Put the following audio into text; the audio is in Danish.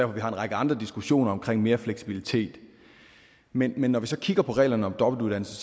vi har en række andre diskussioner omkring mere fleksibilitet men men når vi så kigger på reglerne om dobbeltuddannelse